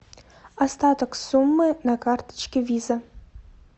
остаток суммы на карточке виза